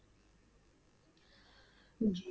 ਜੀ।